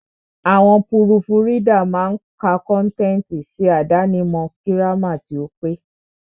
Àwọn púrùfù ridà máa ka kọ́ntẹ̀tì, ṣe àdáni mọ̀ gírámà tí ó pé.